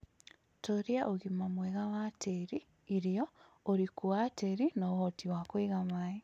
Tũũria ũgima mwega wa tĩĩri, irio, ũriku wa tĩĩri na ũhoti kũiga maĩĩ